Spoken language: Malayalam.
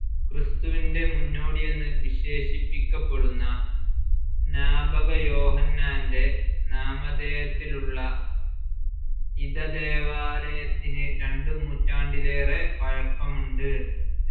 ക്രിസ്തുവിൻ്റെ മുന്നോടിയെന്ന് വിശേഷിപ്പിക്കപ്പെടുന്ന സ്‌നാപകയോഹന്നാൻ്റെ നാമധേയത്തിലുള്ള ഇധ ദേവാലയത്തിന് രണ്ട് നൂറ്റാണ്ടിലേറെ പഴക്കമുണ്ട്.